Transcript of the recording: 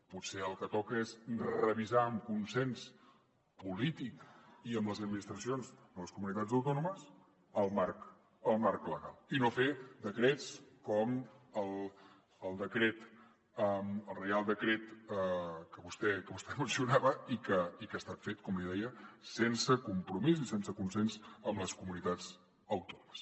potser el que toca és revisar amb consens polític i amb les administracions de les comunitats autònomes el marc legal i no fer decrets com el reial decret que vostè mencionava i que ha estat fet com li deia sense compromís i sense consens amb les comunitats autònomes